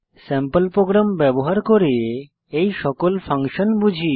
sample program ব্যবহার করে এই সকল ফাংশন বুঝি